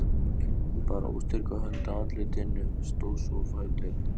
Hún bar óstyrka hönd að andlitinu, stóð svo á fætur.